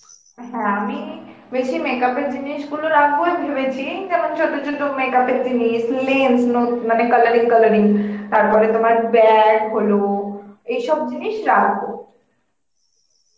হ্যাঁ আমি বেশি makeup এর জিনিস গুলো রাখব ভেবেছি যেমন চত চত makeup এর জিনিস, lens নো~ মানে colouring colouring তারপরে তোমার bag হলো এই সব জিনিস রাখব